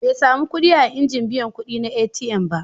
Bai sami kuɗi a injin biyan kuɗi na ATM ba.